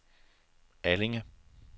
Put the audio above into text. Allinge